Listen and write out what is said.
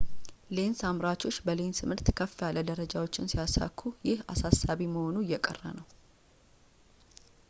ሌንስ አምራቾች በሌንስ ምርት ከፍ ያሉ ደረጃዎችን ሲያሳኩ ይህ አሳሳቢ መሆኑ እየቀረ ነው